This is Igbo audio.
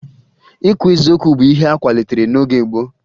Ikwu eziokwu bụ ihe akwalitere n'oge gboo